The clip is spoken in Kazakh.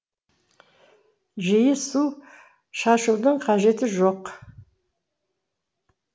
жиі су шашудың қажеті жоқ